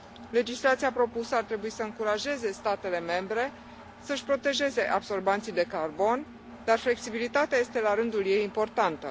Legislația propusă ar trebui să încurajeze statele membre să și protejeze absorbanții de carbon, dar flexibilitatea este, la rândul ei, importantă.